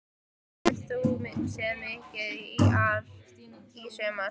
Hefur þú séð mikið til ÍR í sumar?